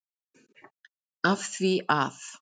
Af því að?